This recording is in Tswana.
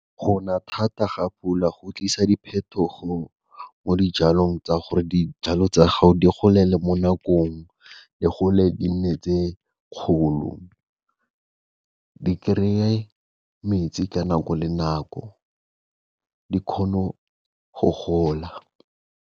Gona thata ga pula go tlisa diphetogo mo dijalong tsa gore dijalo tsa gao di golele mo nakong, di gole di nne tse kgolo, di kry-e metsi ka nako le nako di kgono go gola.